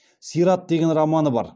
сират деген романы бар